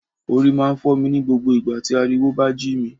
Orí máa ń fọ́ mi ní gbogbo ìgbà tí ariwo bá jí mi